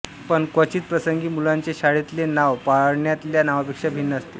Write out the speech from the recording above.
पण क्वचित प्रसंगी मुलाचे शाळेतले नाव पाळण्यातल्या नावापेक्षा भिन्न असते